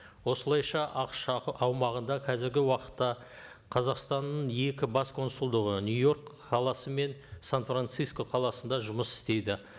осылайша ақш аумағында қазіргі уақытта қазақстанның екі бас консулдығы нью йорк қаласы мен сан франциско қаласында жұмыс істейді